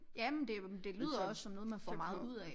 Ja men det det lyder også som noget man får meget ud af